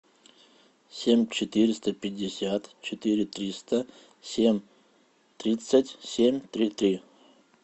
семь четыреста пятьдесят четыре триста семь тридцать семь три три